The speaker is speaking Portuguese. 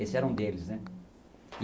Esse era um deles, né.